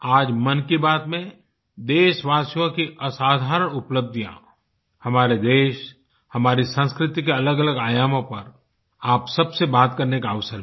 आज मन की बात में देशवासियों की असाधारण उपलब्धियाँ हमारे देश हमारी संस्कृति के अलगअलग आयामों पर आप सबसे बात करने का अवसर मिला